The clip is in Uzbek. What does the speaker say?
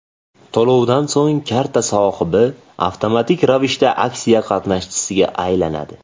To‘lovdan so‘ng karta sohibi avtomatik ravishda aksiya qatnashchisiga aylanadi.